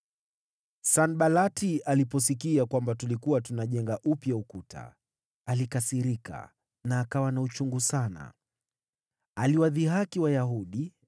Sanbalati aliposikia kwamba tulikuwa tunajenga ukuta upya, alikasirika na akawa na uchungu sana. Aliwadhihaki Wayahudi